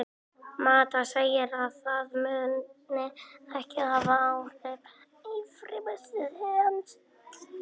Mata segir að það muni ekki hafa áhrif á frammistöðu hans.